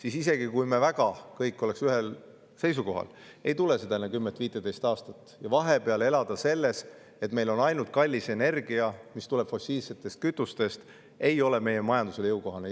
Aga isegi kui me kõik oleks väga ühel seisukohal, ei tule seda enne 10–15 aastat, ja vahepeal elada nii, et meil on ainult kallis energia, mis tuleb fossiilsetest kütustest, ei ole meie majandusele jõukohane.